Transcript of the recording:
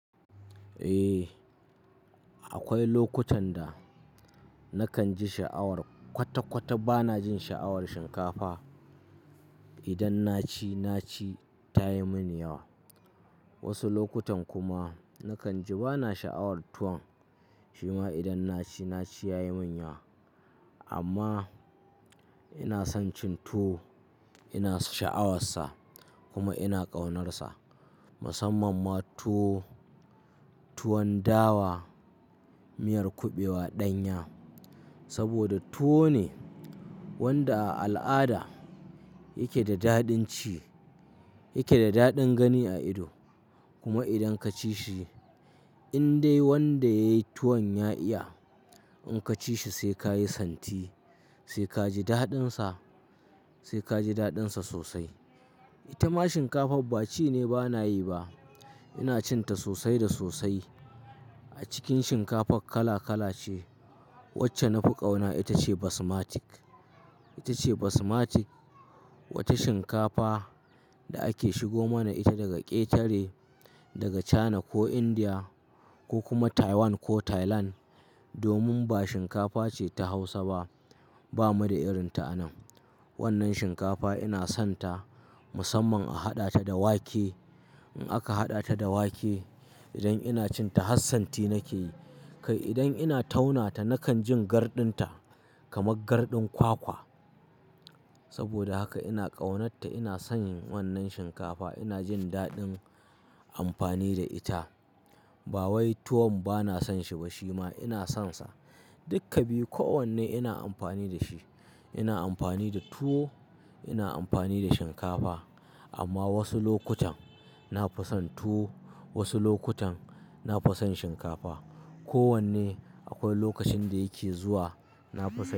Eh, akwai lokutan da nakan ji sha'awar kwata-kwata bana jin sha'awar shinkafa. Idan na ci, na ci ta yi mini yawa. Wasu lokutan kuma nakan ji bana sha'awar tuwon shima idan na ci, na ci ya yi yi min yawa. Amma ina son cin tuwo, ina sha'awarsa kuma ina ƙaunarsa. Musamman ma tuwo tuwon dawa, miyar kuɓewa ɗanya. Saboda tuwo ne wanda a al'ada yake da daɗin ci, yake da daɗin gani a ido. Kuma idan ka ci shi in dai wanda ya yi tuwon ya iya, in ka ci shi sai ka yi santi, sai ka ji daɗinsa, sai ka ji daɗinsa sosai. Ita ma shinkafan ba ci ne bana yi ba. Ina cin ta sosai da sosai. A cikin shinkafan kala kala ce. Wacce na fi ƙauna ita ce Basmatic. Ita ce Basmatic, wata shinkafa da ake shigo mana ita daga ƙetare, daga China ko India ko kuma Taiwan ko Thailand. Domin ba shinkafa ce ta Hausa ba, ba mu da irin ta a nan. Wannan shinkafa ina son ta musamman a haɗa ta da wake. In aka haɗa ta da wake idan ina cin ta hassanti nake yi. Kai idan ina tauna ta nakan jin garɗin ta kamar garɗin kwakwa. Saboda haka ina ƙaunar ta, ina son wannan shinkafa, ina jin daɗin amfani da ita. Ba wai tuwon bana son shi ba shima ina son sa. Dukka biyu kowanne ina amfani da shi. Ina amfani da tuwo, ina amfani da shinkafa. Amma wasu lokutan na fi son tuwo, wasu lokutan na fi son shinkafa. Kowanne akwai lokacin da yake zuwa na fi son shi.